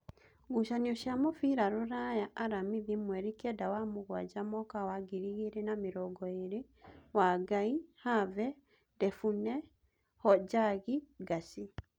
Ngucanio cia mũbira Ruraya Aramithi mweri kenda wa mũgwanja mwaka wa ngiri igĩrĩ na mĩrongoĩrĩ: Wangai, Have, Ndebune, Hojagi, Ngacĩ.